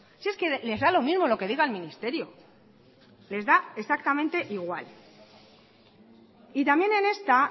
si es que les da lo mismo lo que diga el ministerio les da exactamente igual y también en esta